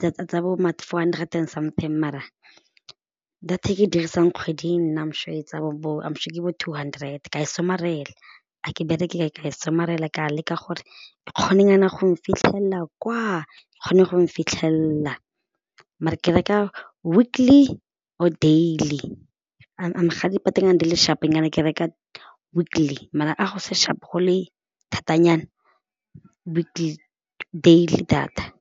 data tsa bo ma four hundred and something mara data e ke e dirisang kgwedi nna am sure e tsaya bo am sure bo two hundred ka e somarela a ke bereke e ka e somarela ka leka gore e kgone nyana go fitlhelela kwa kgone gong fitlhelela maar-e ke reka weekly or daily ga dipanyana di le sharp-o ke reka weekly maar a go se sharp go le thatanyana weekly, dealy data.